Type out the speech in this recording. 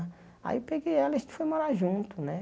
Aí peguei ela e a gente foi morar junto, né?